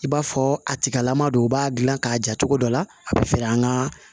I b'a fɔ a tigilama don u b'a gilan k'a ja cogo dɔ la a be feren ka